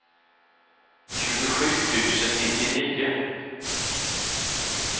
tjugosju tusen nittionio